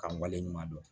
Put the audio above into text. Ka wale ɲuman dɔn